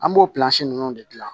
An b'o ninnu de dilan